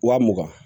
Wa mugan